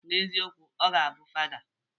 N'eziokwu, ọ ga abụ fada.